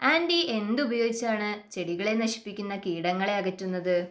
Anti എന്തുപയോഗിച്ചാണ് ചെടികളെ നശിപ്പിക്കുന്ന കീടങ്ങളെ അകറ്റുന്നത്?